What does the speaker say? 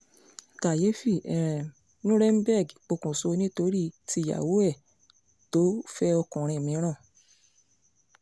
kàyééfì um nuremberg pokùnṣọ̀ nítorí tíyàwó ẹ̀ tó fẹ́ òkùnrin míràn